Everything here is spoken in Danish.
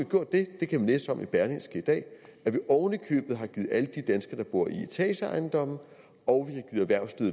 gjort det det kan man læse om i berlingske i dag at vi har givet alle de danskere der bor i etageejendommene